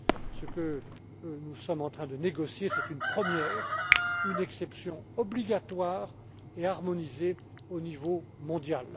ce que nous sommes en train de négocier, c'est une première, une exception obligatoire et harmonisée au niveau mondial.